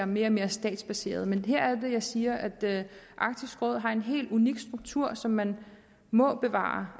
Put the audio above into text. mere og mere statsbaseret men her er det jeg siger at arktisk råd har en helt unik struktur som man må bevare